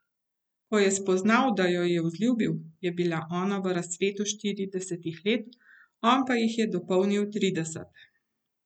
Ko je spoznal, da jo je vzljubil, je bila ona v razcvetu štiridesetih let, on pa jih je dopolnil trideset.